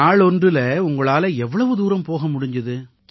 நாளொன்றில உங்களால எவ்வளவு தூரம் போக முடிஞ்சுது